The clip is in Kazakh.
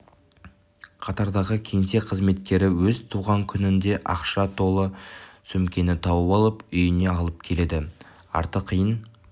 қатардағы кеңсе қызметкері өз туған күнінде ақшаға толы сөмкені тауып алып үйіне алып келеді арты қиын